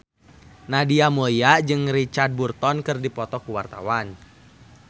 Nadia Mulya jeung Richard Burton keur dipoto ku wartawan